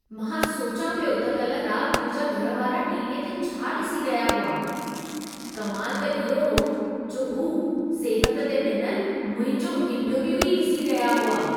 मां सोचियां पियो त कल रात मुंहिंजा घर वारा टी.वी. ते छा ॾिसी रहिया हुआ। कमाल त इहो हो जो हू सिहत ते ॾिनल मुंहिंजो इंटरव्यू ई ॾिसी रहिया हुआ।